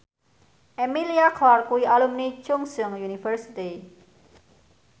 Emilia Clarke kuwi alumni Chungceong University